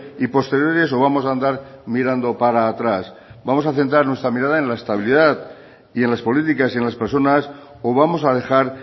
y posteriores o vamos a andar mirando para atrás vamos a centrar nuestra mirada en la estabilidad y en las políticas y en las personas o vamos a dejar